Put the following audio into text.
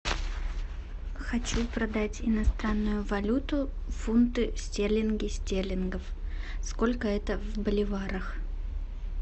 хочу продать иностранную валюту фунты стерлинги стерлингов сколько это в боливарах